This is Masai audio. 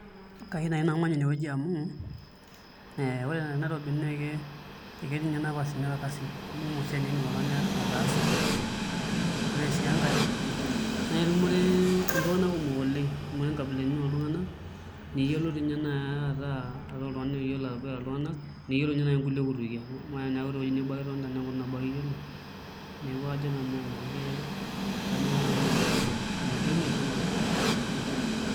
Kayiu nai namany inewueji amu ee ore tenairobi naa ketii ninye nafasini olkasin amu kumok siatin nidim oltungani ataasa ore sii enkae naa aitumore iltungana Oleng amu aitumore inkaibilaitin oltungana niyielou ninye nai ataa oltungani oyielou ataboitare iltungana niyielo toi ninye nai ninye kulie kutukie amu naa teneeku tewueji nabo ake itonita nee nkutuk nabo ake iyielo neeku kanyoraa nai nanu aton tenairobi megol maisha enairobi .